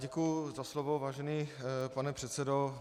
Děkuji za slovo, vážený pane předsedo.